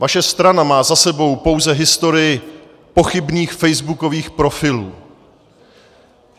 Vaše strana má za sebou pouze historii pochybných facebookových profilů.